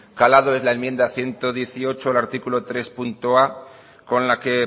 calado es la enmienda ciento dieciocho al artículo hirua con la que